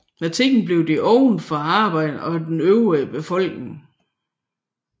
Med tiden blev de åbnet for arbejderne og den øvrige befolkningen